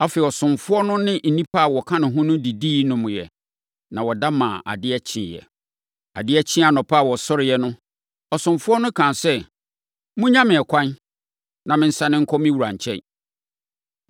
Afei, ɔsomfoɔ no ne nnipa a wɔka ne ho no didi nomeeɛ, na wɔda maa adeɛ kyeeɛ. Adeɛ kyee anɔpa a wɔsɔreeɛ no, ɔsomfoɔ no kaa sɛ, “Monnya me ɛkwan, na mensane nkɔ me wura nkyɛn.”